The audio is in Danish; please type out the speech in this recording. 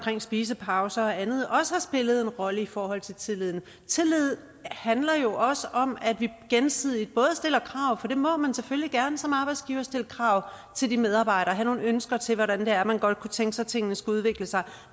spisepauser og andet også har spillet en rolle i forhold til tilliden tillid handler jo også om at vi gensidigt både stiller krav for det må man selvfølgelig gerne som arbejdsgiver altså stille krav til medarbejderne og have nogle ønsker til hvordan det er man godt kunne tænke sig at tingene skulle udvikle sig